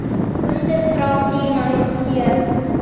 Fundið þrá þína hér.